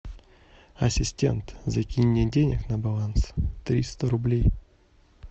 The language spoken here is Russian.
ассистент закинь мне денег на баланс триста рублей